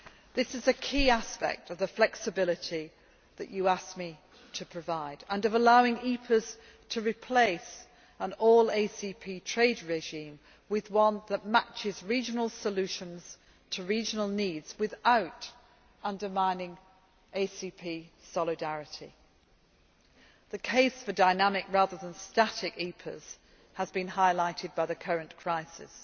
This is a key aspect of the flexibility that you asked me to provide and of allowing EPAs to replace an all ACP trade regime with one that matches regional solutions to regional needs without undermining ACP solidarity. The case for dynamic rather than static EPAs has been highlighted by the current crisis.